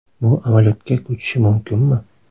Bu amaliyotga ko‘chishi mumkinmi?